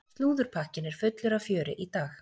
Slúðurpakkinn er fullur af fjöri í dag.